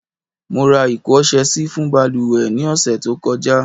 Mo ra iko ọ̀sẹ̀ sì fún baluwe ni ose tí ó kọjá